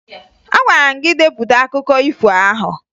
Agwara m gị depụta akụkọ ifo ahụ!